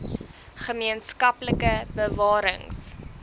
gemeen skaplike bewarings